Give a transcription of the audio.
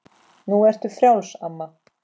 Nú ertu frjáls, amma.